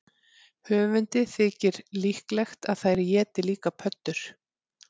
Höfundi þykir líklegt að þær éti líka pöddur.